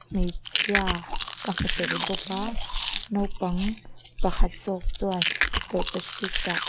hmeichhia ka hmu tel bawk a naupang pakhat zawk chuan tawlhpahritah--